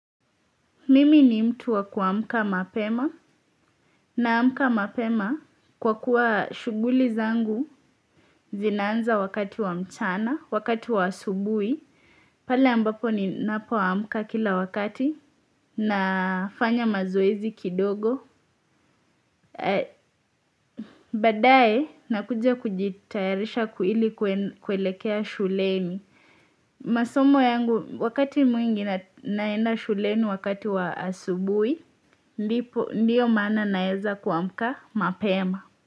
Mimi ni mtu wa kuamka mapema. Naamka mapema kwa kuwa shughuli zangu zinaanza wakati wa mchana, wakati wa asubui. Pale ambapo ni napoamka kila wakati na fanya mazuwezi kidogo. Badae na kujia kujitayarisha kuili kuelekea shuleni. Masomo yangu wakati mwingi naenda shulenu wakati wa asubui, ndiyo maana naeza kuamka mapema.